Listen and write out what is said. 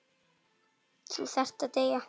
Þú þarft að deyja.